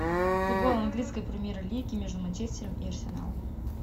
футбол английской премьер лиги между манчестером и арсеналом